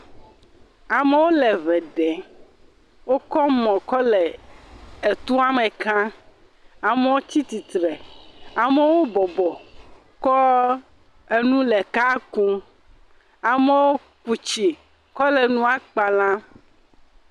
Amewo le ŋɛ ɖem. Wokɔ mɔ kɔ le etoa me kam. Amewo tsi tsitre. Amewo bɔbɔ kɔ enu le eka kum. Amewo ku tsi kɔ le nua kpa lam.